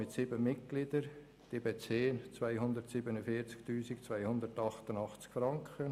Die sieben Mitglieder des Verwaltungsrats beziehen 247 288 Franken.